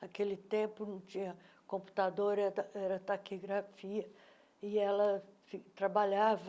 Naquele tempo não tinha computador, era taquigrafia e ela trabalhava